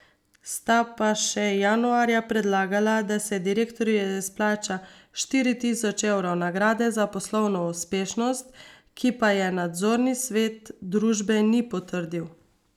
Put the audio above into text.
Sta pa še januarja predlagala, da se direktorju izplača štiri tisoč evrov nagrade za poslovno uspešnost, ki pa je nadzorni svet družbe ni potrdil.